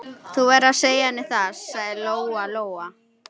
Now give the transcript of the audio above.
Þú verður að segja henni það, sagði Lóa-Lóa.